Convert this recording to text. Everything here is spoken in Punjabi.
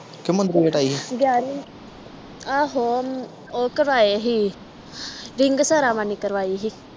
ਗਿਆਰਵੇਂ ਆਹੋ ਓਹ ਕਰਾਏ ਸੀ ਕਰਾਈ ਸੀ